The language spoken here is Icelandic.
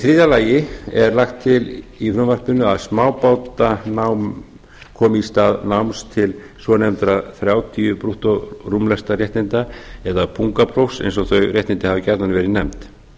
þriðja lagt er til í frumvarpinu að smábátanám komi í stað náms til svonefndra þrjátíu brúttórúmlestaréttinda eða pungaprófs eins og þau réttindi hafa jafnan verið nefnd